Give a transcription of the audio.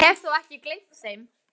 Ég hef þó ekki gleymt þeim!